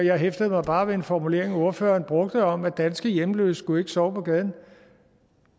jeg hæftede mig bare ved en formulering ordfører brugte om at danske hjemløse ikke skulle sove på gaden